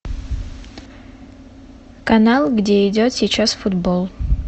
канал где идет сейчас футбол